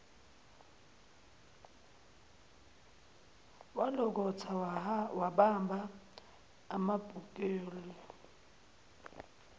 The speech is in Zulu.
walokotha wabamba amabhuleki